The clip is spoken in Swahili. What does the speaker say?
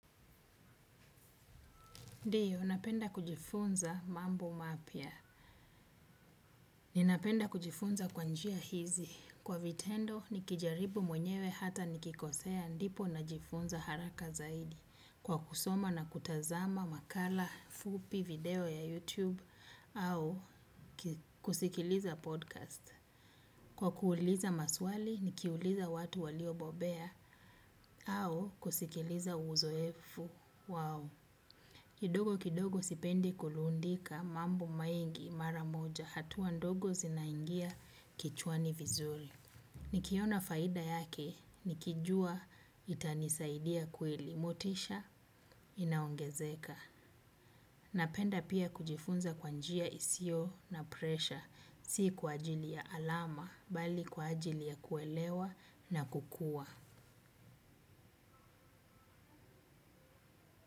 Ndiyo, napenda kujifunza mambo mapya. Ninapenda kujifunza kwa njia hizi, kwa vitendo, nikijaribu mwenyewe hata nikikosea ndipo najifunza haraka zaidi. Kwa kusoma na kutazama makala, fupi, video ya YouTube, au kusikiliza podcast. Kwa kuuliza maswali, nikiuuliza watu walio bobea, au kusikiliza uzoefu. Wow. Kidogo kidogo sipendi kulundika mambo mengi mara moja hatuwa ndogo zinaingia kichwani vizuri. Nikiona faida yake nikijua itanisaidia kweli. Motisha inaongezeka. Napenda pia kujifunza kwa njia isio na presha si kwa ajili ya alama bali kwa ajili ya kuelewa na kukua.